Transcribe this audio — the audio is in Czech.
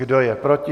Kdo je proti?